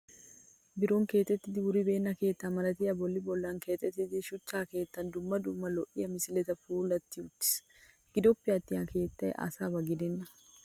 Biron keexettiiddi wuribeenna keetta malatiyaa bolli bollan keexettida shuchcha keettayi dumma dumma lo'iyaa misiletun puulatti uttis. Gidoppe attin ha keettayi asaba gidenna.